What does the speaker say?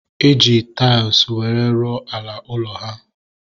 E ji tais were rụọ ala ụlọ ha